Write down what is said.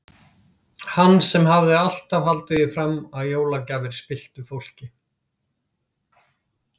Hann sem hafði alltaf haldið því fram að jólagjafir spilltu fólki.